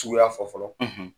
Suguya fɔ fɔlɔ